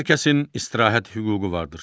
Hər kəsin istirahət hüququ vardır.